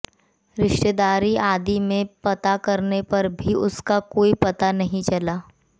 रिश्तेदारी आदि में पता करने पर भी उसका कोई पता नहीं चला